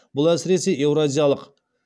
бұл әсіресе еуразиялық